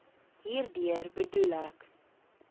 hierdeur bedoel ek